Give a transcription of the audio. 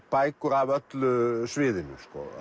bækur af öllu sviðinu